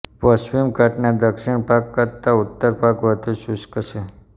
પશ્ચિમ ઘાટના દક્ષીણ ભાગ કરતાં ઉત્તર ભાગ વધુ શુષ્ક છે